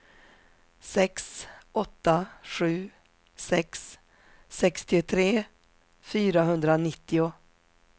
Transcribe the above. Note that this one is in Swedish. sex åtta sju sex sextiotre fyrahundranittio